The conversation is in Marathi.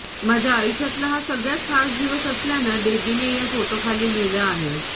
माझ्या आयुष्यातला हा सगळ्यात खास दिवस असल्याचं डेबीने या फोटोंखाली लिहलं आहे